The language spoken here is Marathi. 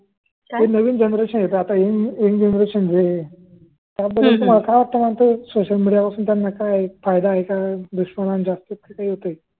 ते नवीन जनरेशन हे का अत्ता नवीन जनरेशन हे सोशल मिडियावरुन त्यांना काय फायदा आहे का